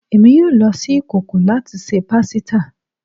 Emi yoo lo si ikoko lati ṣe pasita